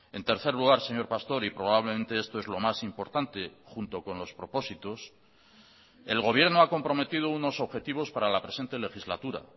en tercer lugar señor pastor y probablemente esto es lo más importante junto con los propósitos el gobierno ha comprometido unos objetivos para la presente legislatura